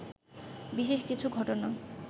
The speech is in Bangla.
বিশেষ কিছু ঘটনা